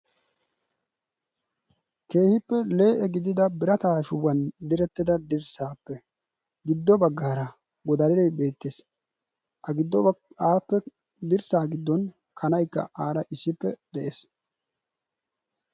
keehippe lee'e gididda birataa shubban direttida dirsaappe giddo bagaara godaree beetees,a goddon appe dirsaa giddon kanaykka aara issippe de'ees.